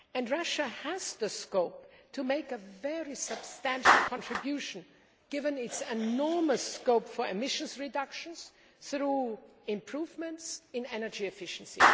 Russia has the scope to make a very substantial contribution, given its enormous scope for emissions reductions through improvements in energy efficiency.